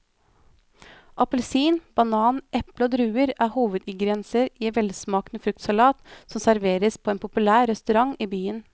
Appelsin, banan, eple og druer er hovedingredienser i en velsmakende fruktsalat som serveres på en populær restaurant i byen.